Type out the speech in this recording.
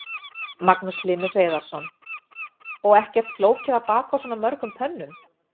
Magnús Hlynur Hreiðarsson: Og ekkert flókið að baka á svona mörgum pönnum?